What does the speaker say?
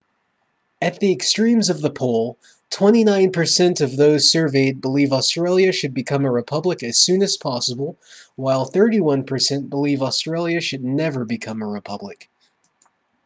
at the extremes of the poll 29 per cent of those surveyed believe australia should become a republic as soon as possible while 31 per cent believe australia should never become a republic